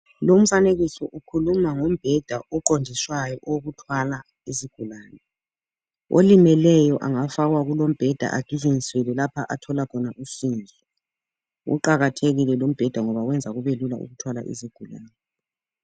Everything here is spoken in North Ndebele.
Lumfanekiso ukhuluma ngombheda oqondiswayo owokuthwala izigulani. Olimeleyo angafakwa kulombheda agijinyiselwe lapha athola khona usizo. Uqakathekile lumbheda ngoba wenza kubelula ukuthwala izigulani.